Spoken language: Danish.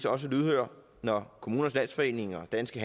også lydhøre når kommunernes landsforening og danske